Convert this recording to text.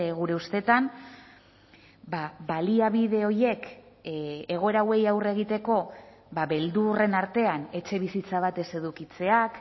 gure ustetan baliabide horiek egoera hauei aurre egiteko beldurren artean etxebizitza bat ez edukitzeak